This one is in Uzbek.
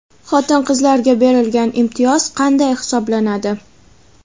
Xotin-qizlarga berilgan imtiyoz qanday hisoblanadi?.